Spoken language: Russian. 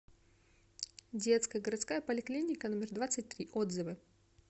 детская городская поликлиника номер двадцать три отзывы